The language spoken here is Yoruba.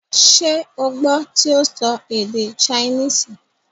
ṣé o gbọ́ tí ó sọ èdè saínìsì,?